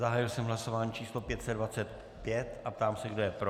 Zahájil jsem hlasování číslo 525 a ptám se, kdo je pro.